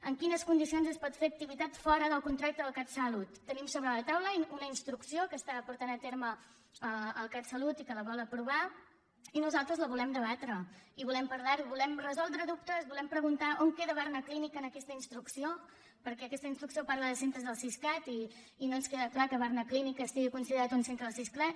en quines condicions es pot fer activitat fora del contracte del catsalut tenim sobre la taula una instrucció que està portant a terme el catsalut i que la vol aprovar i nosaltres la volem debatre i volem parlarho volem resoldre dubtes volem preguntar on queda barnaclínic en aquesta instrucció perquè aquesta instrucció parla de centres del siscat i no ens queda clar que barnaclínic estigui considerat un centre del siscat